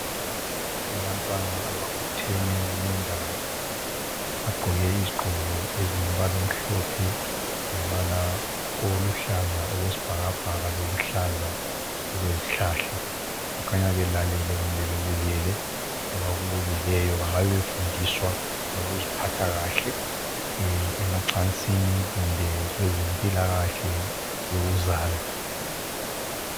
Kulabantwana ababutheneyo kule ndawo ,bagqoke ezilombala omhlophe lombala oluhlaza okwesibhakabhaka lombala oluhlaza okwesihlahla ,bakhanya belalele kumbe bebukele abakubukeleyo bangabe befundiswa ngokuziphatha kahle emacansini kumbe kwezempilakahle yokuzala .